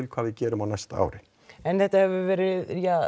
hvað við gerum á næsta ári en þetta hefur verið